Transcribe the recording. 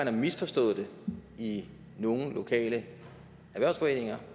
har misforstået det i nogle lokale erhvervsforeninger